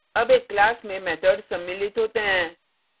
अब एक class में methods सम्मिलित होते हैं